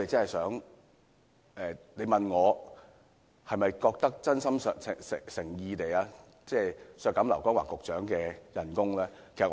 如果要問我，是否真心誠意地希望削減劉江華局長的薪酬呢？